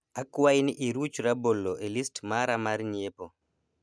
akwai ni iruch rabolo e list mara mar nyiepo